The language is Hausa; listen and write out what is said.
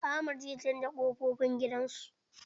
Ahmad zai canza ƙofofin gidan su.